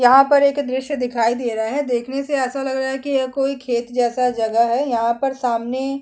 यहाँ पर एक दृश्य दिखाई दे रहा है देखने से ऐसा लग रहा है कि कोई खेत जैसा जगह है यहाँ पर सामने--